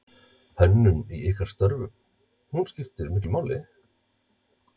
Hönnun í ykkar störfum, hún skiptir miklu máli?